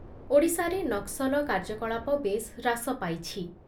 ଓଡ଼ିଶାରେ ନକ୍ସଲ କାର୍ଯ୍ୟକଳାପ ବେଶ୍ ହ୍ରାସ ପାଇଛି ।